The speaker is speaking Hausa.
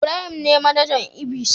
Ibrahim ne manajan ibys.